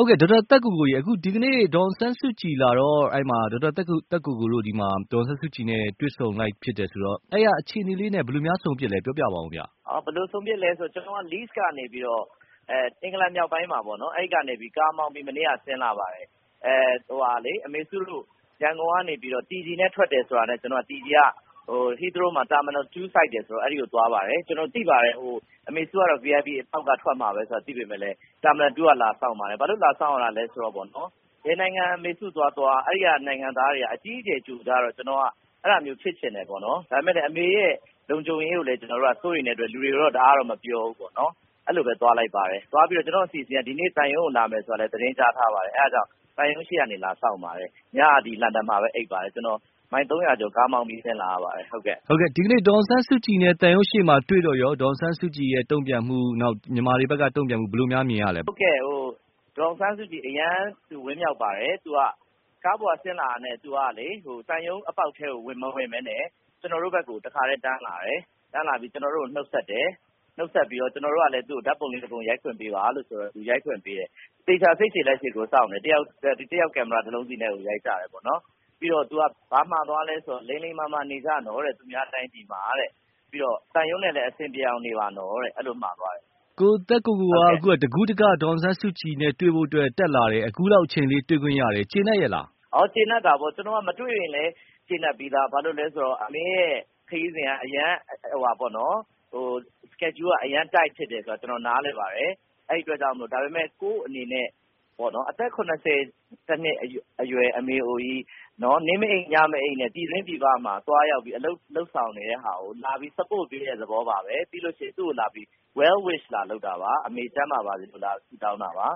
ုတ်ကဲ့ ဒေါက်တာသက်ကိုကို ရေ ဒီနေ့ ဒေါ်အောင်ဆန်းစုကြည်လာတော့ အဲဒီမှာ ဒေါက်တာသက်ကိုကို တို့ ဒေါ်အောင်ဆန်းစုကြည် နဲ့တွေ့ဆုံ ဖြစ်လိုက်တယ်ဆိုတော့ အဲဒီကအခြေအနေလေးနဲ့ ဘယ်လိုများ ဆုံဖြစ်သလဲ ပြောပြပါဦးခင်ဗျ။ ဘယ်လိုဆုံဖြစ်သလဲဆိုတော့ ကျနော်က အင်္ဂလန်မြောက်ပိုင်းမှာပေါ့နော် ကားမောင်းပြီး မနေ့က ဆင်းလာပါတယ်။ အမေစုတို့ ရန်ကုန်က TG နဲ့ထွက်တယ်ဆိုတာနဲ့ TG က Heathrowမှာ Terminal 2 ဆိုက်တယ်ဆိုတာနဲ့ ကျနော်အဲဒီကိုသွားပါတယ်။ ကျနော်သိပါတယ် အမစုကတော့ VIP အပေါက်က ထွက်မှာဆိုတာကို သိပေမယ့်လည်း Terminal 2 ကနေ လာစောင့်ပါတယ်။ ဘာလို့လာစောင့်ရတာလဲဆိုတော့ ဘယ်နိုင်ငံ အမစုသွားသွား အဲဒီက နိုင်ငံသားတွေက အကြီးအကျယ် ကြိုဆိုကြတော့ ကျနာ်အဲဒီလိုမျိုးဖြစ်ချင်တယ်။ ဒါပေမယ့် အမေရဲ့ လုံခြုံရေးကိုလည်း ကျနော်တို့က စိုးရိမ်တဲ့အတွက်လူတွေကိုတော့ တအားတော့မပြောဘူးပေါ့နော်။ အဲလိုပဲ သွားလိုက်ပါတယ်။ သွားပြီးတော့ ကျနော့်အစီအစဉ်က ဒီကနေ့ သံရုံးကို လာမယ်ဆိုတာလည်း သတင်းကြားထားပါတယ်။ အဲဒါကြောင့် သံရုးရေ့ကနေ လာစေညင့် ပါတယ် ညက လန်ဒန်မှာပဲ အိပ်ပါတယ် ။ ကျနော် မိုင် ၃၀၀ ကျော် ကားမောင်းပြီး ဆင်းလာရပါတယ်။ ဟုတ်ကဲ့ ဒီကနေ့ ဒေါ်အောင်ဆန်းစုကြည်နဲ့ သံရုံးရှေ့မှာ တွေ့တော့ရော ဒေါ်အောင်ဆန်းစုကြည် တုန့်ပြန်မှု နောက် မြန်မာ တွေဘက်က တုန့်ပြန်မှုဘယ်လိုများ မြင်ရသလဲ။ ဟုတ်ကဲ့။ ဒေါ်အောင်ဆန်းစုကြည် အရမ်း သူဝမ်းမြောက်ပါတယ်။ သူက ကားပေါ်က ဆင်းလာတာနဲ့ သူကလေ သံရုံးအပေါ်က်ထဲကို မဝင်ပဲနဲ့ ကျနော်တို့ ဘက်ကို တခါတည်း တန်းလာပါတယ်။ တန်းလာပြီး ကျနော်တို့ကို နှုတ်ဆက်တယ်။ နှုတ်ဆက်ပြီးတော့ ကျနော်တို့ကလည်း ဓါတ်ပုံလေး ၁ ပုံရိုက်ခွင့်ပေးပါလို့ဆိုတော့ သူရိုက်ခွင့်ပေးတယ်။ သေချာစိတ်ရှည်လက်ရှည်ကိုစောင့်တယ်။ တယောက် ကင်မရာ ၁ လုံးစီနဲ့ကို ရိုက်ကြတယ်ပေါ့နော်။ ပြီးတော့ သူက ဘာမှာသွားလဲဆိုတော့ လိမ်လိမ်မာမာ နေကြနော်တဲ့ သူများတိုင်ပြည်မှာတဲ့ ။ ပြီးတော့ သံရုံးနဲ့လည်း အဆင်ပြေအောင်နေပါနော် အဲလိုမှာသွားတယ်။ ကိုသက်ကိုကိုက တကူးတက ဒေါ်အောင်ဆန်းစုကြည် နဲ့တွေ့ဖို့အတွက် တက်လာတယ် အခုလောက်အချိန်လေး တွေ့ခွင့်ရတယ် ကျေနပ်ရဲ့လား။ ကျေနပ်တာပေါ့။ ကျနော် မတွေ့ရင်လည်း ကျေနပ်ပြီးသားပါ ဘာလို့လဲဆိုတော့ အမေ့ခရီးစဉ်က အရမ်း schedule က အရမ်း tight ဖြစ်တယ်ဆိုတာ ကျနော်နားလည်ပါတယ်။ ဒါပေမယ့် ကိုယ့် အနေနဲ့ အသက် ၇၁ နှစ်အရွယ် အမေအိုကြီး နေ့မအိပ် ညမအိပ်နဲ့ ပြည်တွင်းပြည်ပမှာ သွားရောက်ပြီး အလုပ်လုပ်ဆောင်နေတဲ့ဟာကို လာရောက်ပြီး support ပေးတဲ့ သဘောပါပဲ။ ပြီးရင် သူ့ကိုလာပြီး well wish လာလုပ်တာပါ။ အမေ ကျန်းမာပါစေဆိုပြီး လာဆုတောင်းတာပါ